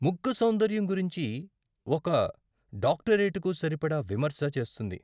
ముగ్గు సౌందర్యం గురించి ఒక డాక్టరేటుకి సరిపడా విమర్శన చేస్తుంది.